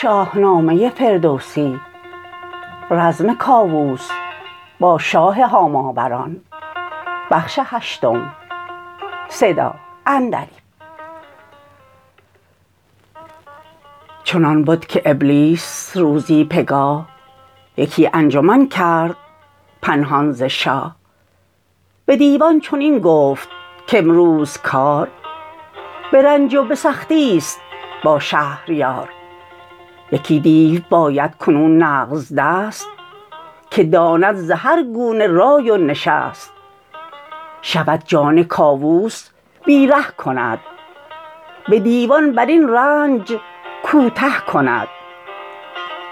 چنان بد که ابلیس روزی پگاه یکی انجمن کرد پنهان ز شاه به دیوان چنین گفت کامروز کار به رنج و به سختیست با شهریار یکی دیو باید کنون نغزدست که داند ز هرگونه رای و نشست شود جان کاووس بیره کند به دیوان برین رنج کوته کند